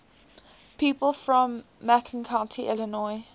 people from macon county illinois